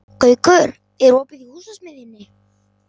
Gaukur, er opið í Húsasmiðjunni?